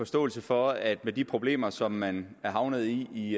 forståelse for at med de problemer som man er havnet i i